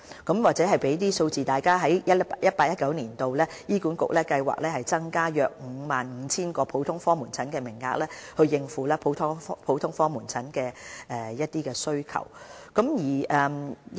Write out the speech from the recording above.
我在此提供一些數字供大家參考 ：2018-2019 年度，醫管局計劃增加約 55,000 個普通科門診的名額，以應付普通科門診服務需求。